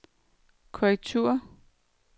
korrektur